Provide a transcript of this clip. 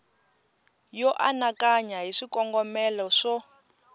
yo anakanya hi swikongomelo swo